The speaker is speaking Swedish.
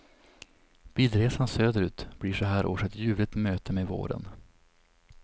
Bilresan söderut blir så här års ett ljuvligt möte med våren.